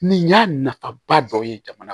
Nin y'a nafaba dɔ ye jamana